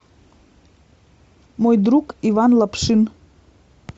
мой друг иван лапшин